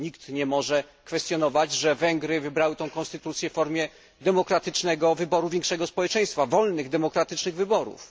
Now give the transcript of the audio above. Nikt nie może kwestionować, że Węgry wybrały tę konstytucję na drodze demokratycznego wyboru większości społeczeństwa, w wolnych demokratycznych wyborach.